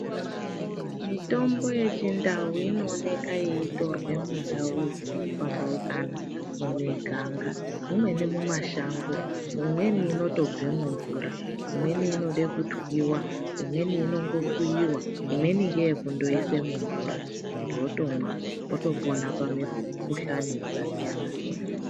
Mitombo yechintau inooneka yeitorwe muntau dzakapambaukana, mumiganga, mumweni mumashango. Mumweni inotobve mumvura, imweni inode kutwiwa, imweni inongokuyiwa, imweni ndeye kundoise mumvura, muntu otomwa otopona pamikhuhlani yakasiyana siyana.